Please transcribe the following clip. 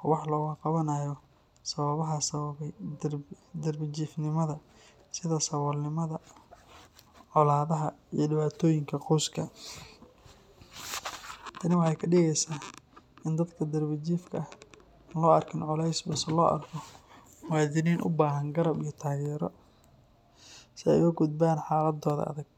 oo wax looga qabanayo sababaha sababay darbi jiifnimada sida saboolnimada, colaadaha iyo dhibaatooyinka qoyska. Tani waxay ka dhigeysaa in dadka darbi jiifka ah aan loo arkin culays balse loo arko muwaadiniin u baahan garab iyo taageero si ay uga gudbaan xaaladooda adag.